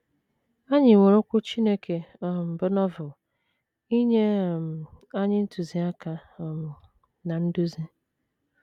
Anyị nwere Okwu Chineke, um bụ́ Novel, inye um anyị ntụziaka um na nduzi.